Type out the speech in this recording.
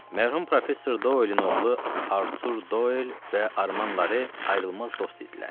Mərhum professor Doin oğlu Artur Doel və Arman Lare ayrılmaz dost idilər.